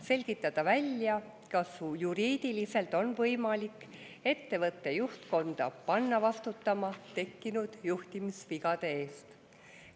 Selgitada välja, kas juriidiliselt on võimalik ettevõtte juhtkonda panna vastutama tekkinud juhtimisvigade eest.